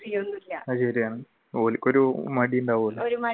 ഓർക്ക് ഒരു മടിയുമുണ്ടാവില്ല